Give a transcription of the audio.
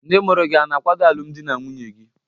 Ndị mụrụ gị hà na-akwado alụmdi na nwunye gị?